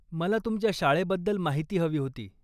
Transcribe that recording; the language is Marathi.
मला तुमच्या शाळेबद्दल माहिती हवी होती.